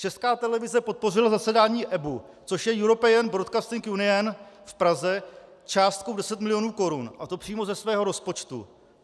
Česká televize podpořila zasedání EBU, což je European Broadcasting Union, v Praze částkou 10 milionů korun, a to přímo ze svého rozpočtu.